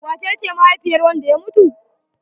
Wace ce mahaifiyar wanda ya mutu?